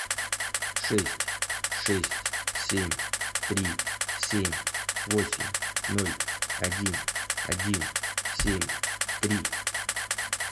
шесть шесть семь три семь восемь ноль один один семь три